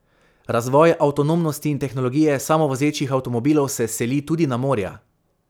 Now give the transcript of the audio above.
Razvoj avtonomnosti in tehnologije samovozečih avtomobilov se seli tudi na morja.